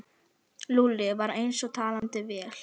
Lúlli var eins og talandi vél.